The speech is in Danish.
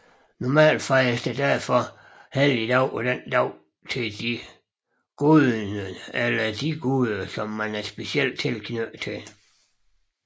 Normalt fejres der derfor helligdag på dagen til den guden eller de guderne man er specielt knyttet til